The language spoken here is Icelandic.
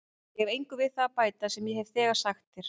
Ég hef engu við það að bæta sem ég hef þegar sagt þér.